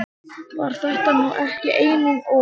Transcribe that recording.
Var þetta nú ekki einum of?